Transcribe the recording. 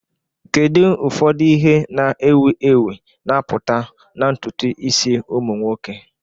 Kedu ụfọdụ ihe na ewi ewi na-apụta na ntutu isi ụmụ nwoke?